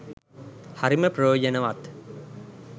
හරිම ප්‍රයෝනජවත්